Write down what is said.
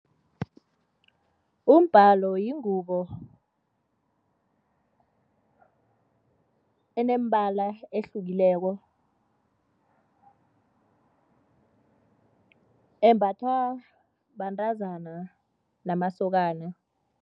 Umbalo yingubo enemibala ehlukileko embathwa bantazana namasokana.